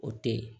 O te ye